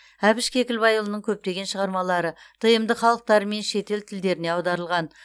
әбіш кекілбайұлының көптеген шығармалары тмд халықтары мен шетел тілдеріне аударылған